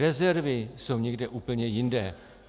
Rezervy jsou někde úplně jinde.